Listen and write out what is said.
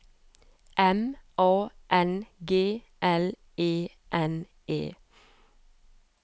M A N G L E N E